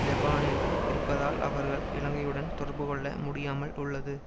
லெபானில் இருப்பதால் அவர்களால் இலங்கையுடன் தொடர்புகொள்ள முடியாமல் உள்ளது